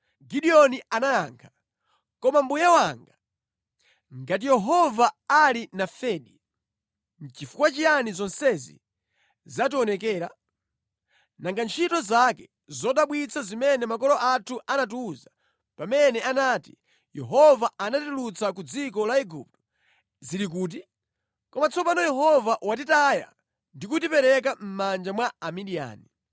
Gideoni anayankha, “Koma mbuye wanga, ngati Yehova ali nafedi, nʼchifukwa chiyani zonsezi zationekera? Nanga ntchito zake zodabwitsa zimene makolo athu anatiwuza pamene anati, ‘Yehova anatitulutsa ku dziko la Igupto,’ zili kuti? Koma tsopano Yehova watitaya ndi kutipereka mʼmanja mwa Amidiyani.”